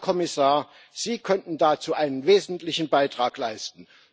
Herr Kommissar, Sie könnten dazu einen wesentlichen Beitrag leisten.